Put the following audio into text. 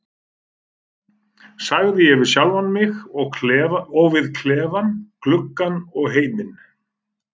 sagði ég við sjálfan mig, og við klefann, gluggann og heiminn.